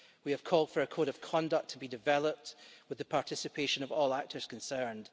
We have called for a code of conduct to be developed with the participation of all actors concerned.